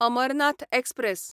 Amarnath express